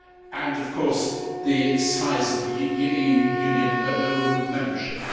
and of course the size of Union membership.